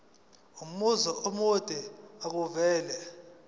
umbuzo omude makuvele